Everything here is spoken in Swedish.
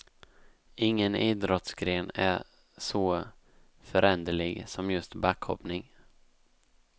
Ingen idrottsgren är så föränderlig som just backhoppning.